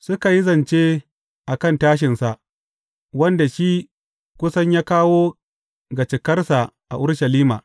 Suka yi zance a kan tashinsa, wanda shi ya kusan ya kawo ga cikarsa a Urushalima.